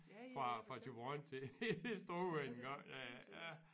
Fra fra Thyborøn til Struer engang ja ja ja